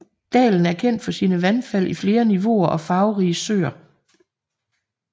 Dalen er kendt for sine vandfald i flere niveauer og farverige søer